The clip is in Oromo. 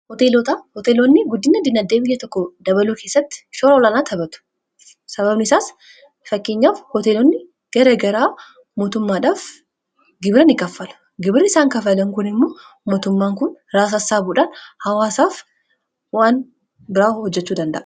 hooteeloonni guddina diinaddeemiya tokko dabaloo keessatti shoroolanaa tapatu sababni isaas fakkeenyaaf hooteeloonni gara garaa mootummaadhaaf gibira ni kaffala gibirra isaan kafalan kun immoo mootummaan kun raasaassaabuudhaan hawaasaaf waan biraa hojjechuu dandaa